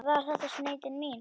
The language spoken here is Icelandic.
Var þetta sneið til mín?